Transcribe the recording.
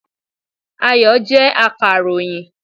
Ayọ̀ jẹ́ akàròyìn